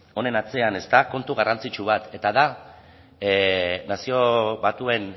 honen atzean badago kontu garrantzitsu bat eta da nazio batuen